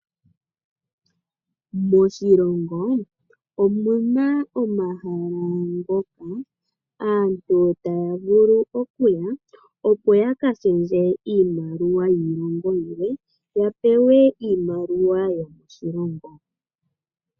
Moshilongo omuna ohala ngoka aantu taya vulu okuya opo yakashendje iimaliwa yiilongo yilwe yapewe iimaliwa yomoshilongo.